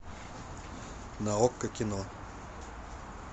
на окко кино